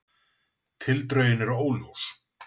Tildrögin eru óljós